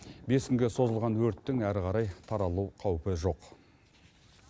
бес күнге созылған өрттің әрі қарай таралу қаупі жоқ